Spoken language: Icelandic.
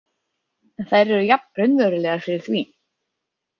En þær eru jafn raunverulegar fyrir því.